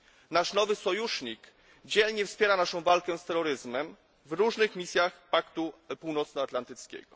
Nasz nowy sojusznik dzielnie wspiera naszą walkę z terroryzmem w różnych misjach Paktu Północnoatlantyckiego.